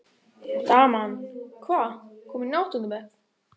Og daman, hvað- komin í áttunda bekk?